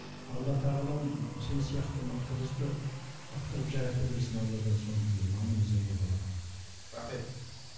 алла тағалам сен сияқты мықты қызды мықты қылып жарата берсін алладан соны тілеймін аман есен бол балапаным рахмет